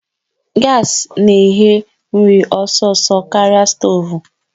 Gaasị na-eghe nri ọsọsọ karịa stoovu